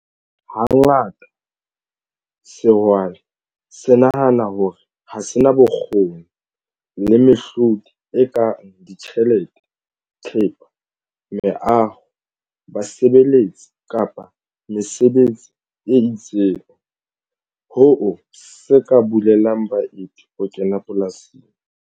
Hangata sehwai se nahana hore ha se na bokgoni le mehlodi e kang ditjhelete, thepa, meaho, basebeletsi kapa mesebetsi e itseng, hoo se ka bulelang baeti ho kena polasing.